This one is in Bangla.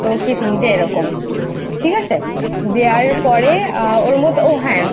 দুটো কি তিনটে এরকম ঠিক আছে দেওয়ার পরে ওর মতো হ্যাঁ